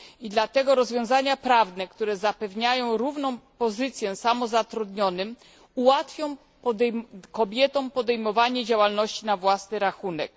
Dlatego też rozwiązania prawne, które zapewniają równą pozycję samozatrudnionym, ułatwią kobietom podejmowanie działalności na własny rachunek.